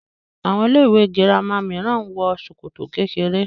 Àwọn ilé-ìwé girama mìíràn ń wọ ṣòkòtò kékeré.